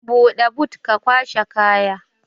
Buɗe but ka kwashe kaya